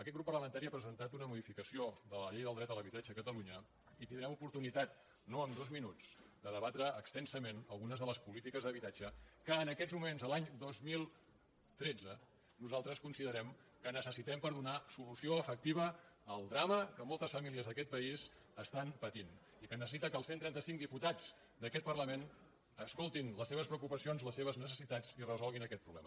aquest grup parlamentari ha presentat una modificació de la llei del dret a l’habitatge a catalunya i tindrem oportuni·tat no en dos minuts de debatre extensament algunes de les polítiques d’habitatge que en aquests moments l’any dos mil tretze nosaltres considerem que necessitem per donar solució efectiva al drama que moltes famílies d’aquest país pateixen i que necessiten que els cent i trenta cinc di·putats d’aquest parlament escoltin les seves preocupa·cions les seves necessitats i resolguin aquest proble·ma